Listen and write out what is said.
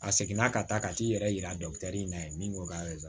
A seginna ka taa ka t'i yɛrɛ yira in na ye min ko k'a bɛ na